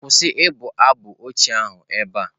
Kwụsị abụ ochie ahụ ebe a!.